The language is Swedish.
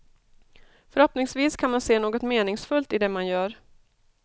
Förhoppningsvis kan man se något meningsfullt i det man gör.